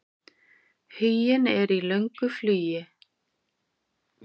Huginn er í löngu flugi.